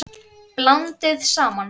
Blandið saman.